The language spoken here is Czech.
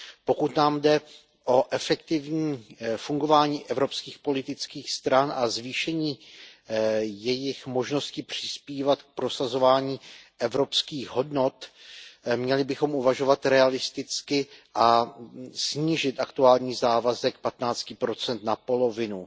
Pokud nám jde o efektivní fungování evropských politických stran a zvýšení jejich možnosti přispívat k prosazování evropských hodnot, měli bychom uvažovat realisticky a snížit aktuální závazek 15 na polovinu.